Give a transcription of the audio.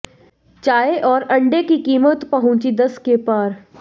चाय और अण्डे की कीमत पहुंची दस के पार